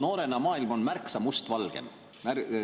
Noorena maailm on märksa mustvalgem.